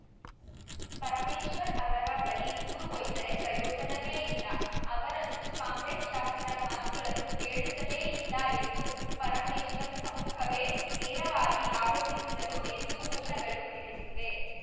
ಪರಮೇಶ್ವರ್‌ ಅವರ ಬಳಿ ದೂರು ಒಯ್ದರೆ ಪ್ರಯೋಜನವೇ ಇಲ್ಲ ಅವರಂತೂ ಕಾಂಗ್ರೆಸ್‌ ಶಾಸಕರ ಮಾತುಗಳನ್ನು ಕೇಳುತ್ತಲೇ ಇಲ್ಲ ಎಂದು ಪರಮೇಶ್ವರ್‌ ಸಮ್ಮುಖವೇ ನೇರವಾಗಿ ಆರೋಪಿಸಿದರು ಎಂದು ಮೂಲಗಳು ತಿಳಿಸಿವೆ